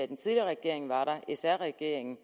den tidligere regering sr regeringen